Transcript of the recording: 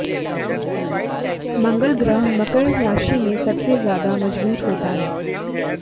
मंगल ग्रह मकर राशि में सबसे ज्यादा मजबूत होता है